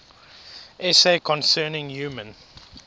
essay concerning human